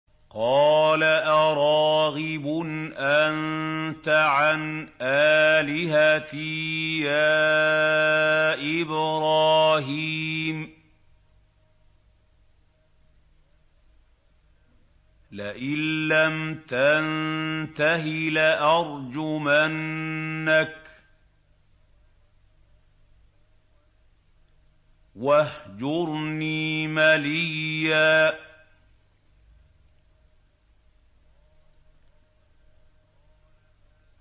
قَالَ أَرَاغِبٌ أَنتَ عَنْ آلِهَتِي يَا إِبْرَاهِيمُ ۖ لَئِن لَّمْ تَنتَهِ لَأَرْجُمَنَّكَ ۖ وَاهْجُرْنِي مَلِيًّا